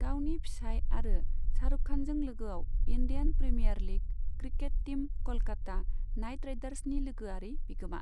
गावनि फिसाइ आरो शाहरुख खानजों लोगोआव Indian Premier League cricket team Kolkata Knight राइडार्सनि लोगोआरि बिगोमा।